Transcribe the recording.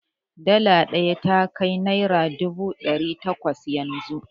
Dala ɗaya ya kai naira dubu ɗari takwas yanzu.